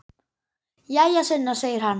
Jæja, Sunna, segir hann.